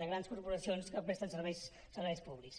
de grans corporacions que presten serveis públics